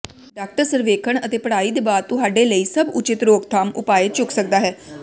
doctor ਸਰਵੇਖਣ ਅਤੇ ਪੜ੍ਹਾਈ ਦੇ ਬਾਅਦ ਤੁਹਾਡੇ ਲਈ ਸਭ ਉਚਿਤ ਰੋਕਥਾਮ ਉਪਾਅ ਚੁੱਕ ਸਕਦਾ ਹੈ